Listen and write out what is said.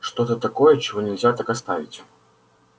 что-то такое чего нельзя так оставить